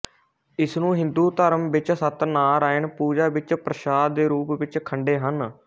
ਇਸਨੂੰ ਹਿੰਦੂ ਧਰਮ ਵਿੱਚ ਸਤਨਾਰਾਯਨ ਪੂਜਾ ਵਿੱਚ ਪਰਸਾਦ ਦੇ ਰੂਪ ਵਿੱਚ ਖੰਡੇ ਹਨ